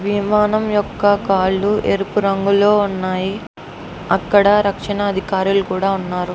విమానం యొక్క కాళ్ళు ఎరుపు రంగులో ఉన్నాయి. అక్కడ రక్షణ అధికారులు కూడా ఉన్నారు.